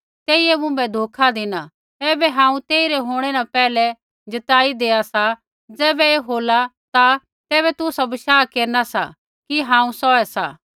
ऐबै हांऊँ तेई रै होंणै न पैहलै जताईया देआ सा ज़ैबै ऐ होला ता तैबै तुसा बशाह केरना सा कि हांऊँ सौहै सा